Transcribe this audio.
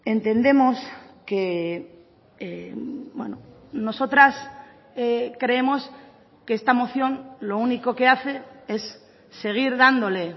entendemos que nosotras creemos que esta moción lo único que hace es seguir dándole